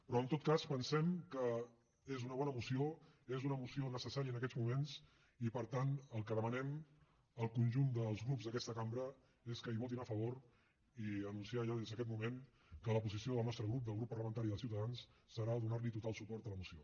però en tot cas pensem que és una bona moció és una moció necessària en aquests moments i per tant el que demanem al conjunt dels grups d’aquesta cambra és que hi votin a favor i anunciar ja des d’aquesta moment que la posició del nostre grup del grup parlamentari de ciutadans serà donar total suport a la moció